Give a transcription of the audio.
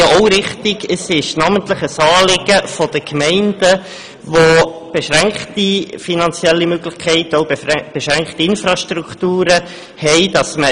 Die Übertragung der Exmissionen ist namentlich ein Anliegen der Gemeinden, die beschränkte finanzielle Möglichkeiten und Infrastrukturen haben.